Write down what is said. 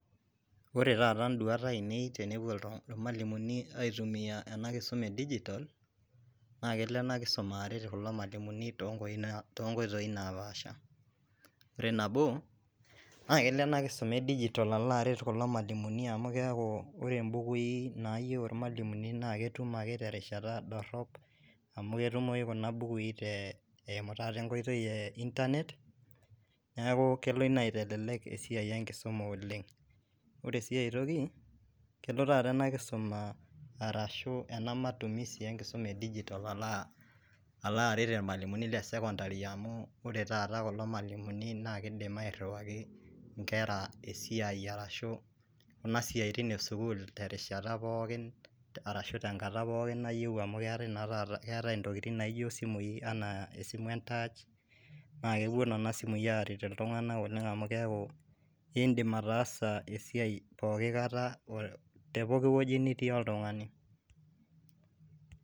Wore taata induat aiinei tenepuo ilmalimuni aitumia ena kisuma edigitol. Naa kelo ena kisuma aret kulo malimu toonkoitoi naapaasha. Wore nabo, naa kelo ena kisuma edigitol alo aret kulo malimu amu keaku wore imbukui naayieu ilmalimuni naa ketum ake terishata dorop, amu ketumoyu kuna bukui te eimu taata enkoitoi eeh internet. Neeku kelo inia aitelelek esiai enkisuma oleng'. Wore si ai toki, kelo taata ena kisuma arashu ena matumisi enkisuma edigitol aloo aret ilmalimuni le sekondari amuu wore taata kulo malimuni naa keidim airriwaki inkera esiai arashu kuna siaitin esukuul terishata pookin arashu tenkata pookin nayieu amu keetae naa taata keetae intokitin naa ijo isimui enaa esimu entaach. Naa kepuo niana simui aaret iltunganak oleng' amu keeku iindim ataasa esiai pookin kata oo tepookin wueji nitii oltungani.